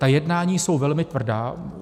Ta jednání jsou velmi tvrdá.